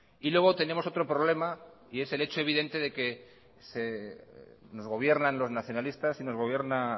y luego tenemos otro problema y es el hecho evidente de que nos gobiernan los nacionalistas y nos gobierna